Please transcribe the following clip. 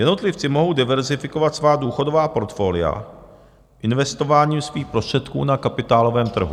Jednotlivci mohou diverzifikovat svá důchodová portfolia, investování svých prostředků na kapitálovém trhu.